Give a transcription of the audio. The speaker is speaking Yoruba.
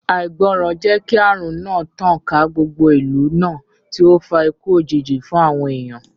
Àìgbọràn jẹ́ kí ààrùn náà tàn ká gbogbo ìlú náà tí ó fa ikú òjijì fún àwọn èèyàn